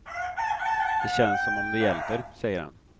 Det känns som om det hjälper, säger han.